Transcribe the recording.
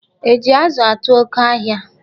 E ji ázụ atu ọ́kẹ́ ahịa?